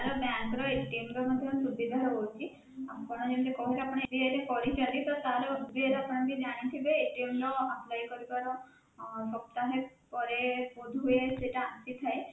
ଆମର bank ର ର ମଧ୍ୟ ସୁବିଧା ରହୁଛି ଆପଣ ଯେମିତି କହୁଛନ୍ତି ଯେ ଆପଣ କରିଛନ୍ତି ତ ତା ର ଆପଣ ଜାଣିଥିବେ ର apply କରିବାର ଅଁ ସପ୍ତାହେ ପରେ ବୋଧହୁଏ ସେଇଟା ଆସିଥାଏ